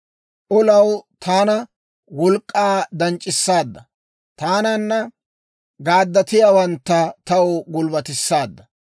Olaw taana wolk'k'aa danc'c'isaadda; taananna gaaddatiyaawantta taw gulbbatissaadda.